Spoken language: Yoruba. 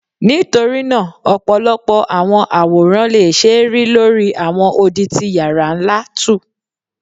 Nitorina ọpọlọpọ awọn aworan le ṣee ri lori awọn odi ti yara nla2